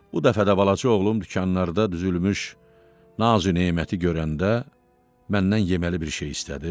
Bu dəfə də balaca oğlum dükanlarda düzülmüş nazü-neməti görəndə məndən yeməli bir şey istədi.